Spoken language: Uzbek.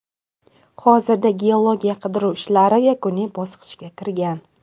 Hozirda geologiya-qidiruv ishlari yakuniy bosqichga kirgan.